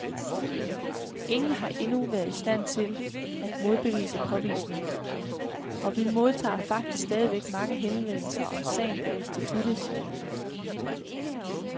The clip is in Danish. Ingen har endnu været i stand til at modbevise påvisningen, og vi modtager faktisk stadigvæk mange henvendelser om sagen på instituttet, siger han.